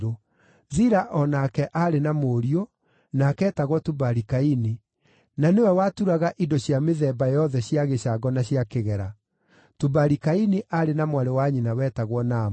Zila o nake aarĩ na mũriũ, nake eetagwo Tubali-Kaini, na nĩwe waturaga indo cia mĩthemba yothe cia gĩcango na cia kĩgera. Tubali-Kaini aarĩ na mwarĩ wa nyina wetagwo Naama.